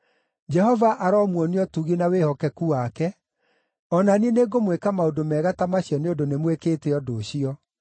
Jehova aromuonia ũtugi na wĩhokeku wake, o na niĩ nĩngũmwĩka maũndũ mega ta macio nĩ ũndũ nĩmwĩkĩte ũndũ ũcio.